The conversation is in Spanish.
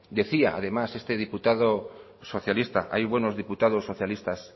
decía además este diputado socialista hay buenos diputados socialistas